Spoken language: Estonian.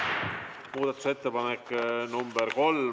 Muudatusettepanek nr 3.